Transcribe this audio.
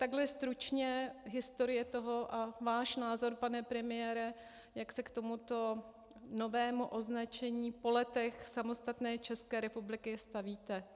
Takhle stručně historie toho a váš názor, pane premiére, jak se k tomuto novému označení po letech samostatné České republiky stavíte.